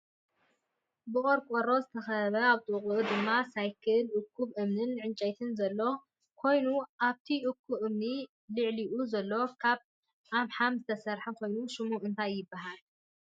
ብቆርቆሮ ዝተከበበን ኣብ ጥቅኡ ድማ ሰይክልን እኩብ እምንን ዕንጨይትን ዘሎ ካይኑ ኣብቲ እኩብ እምኒ ልዕሊኡ ዘሎ ካብ አምሓም ዝተሰረሐ ኮይኑ ሽሙ እንታይ ይብሃል?